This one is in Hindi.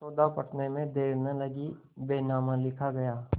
सौदा पटने में देर न लगी बैनामा लिखा गया